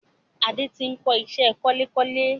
Adé tí n kọ ìṣẹ́ kunlékunlé